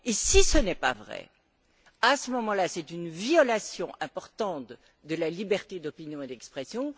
Et si ce n'est pas vrai, à ce moment là, c'est une violation importante de la liberté d'opinion et d'expression.